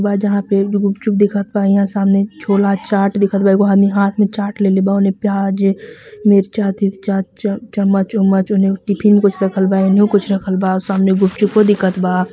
जहां पे गुपचुप दिखत बा यहां सामने छोला चाट दिखत बा एगो आदमी हाथ में चाट लेले बा ओने प्याज मिर्चा तिरचाचम्मच उम्मच एनइयो टिफिन कुछ राखल बा उनइयो कुछ रखल बा सामने गुपचुपो दिखत बा.